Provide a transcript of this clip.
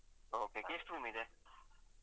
Okay ಈಗ ಯೆಸ್ಟ್ room ಇದೆ?